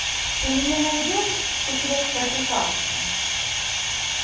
ты мне найдешь секрет тропиканки